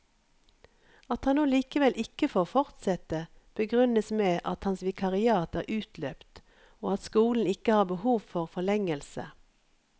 At han nå likevel ikke får fortsette, begrunnes med at hans vikariat er utløpt og at skolen ikke har behov for forlengelse.